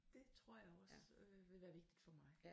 Det tror jeg også øh vil være vigtigt for mig